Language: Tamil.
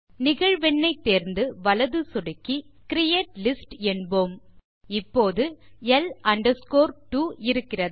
நிகழ்வெண் ஐ தேர்ந்து வலது சொடுக்கி கிரியேட் லிஸ்ட் என்போம் இப்போது L 2 இருக்கிறது